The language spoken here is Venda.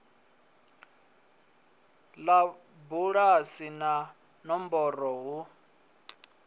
ḽa bulasi na nomboro hu